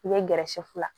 I bɛ gɛrɛ sɛfu la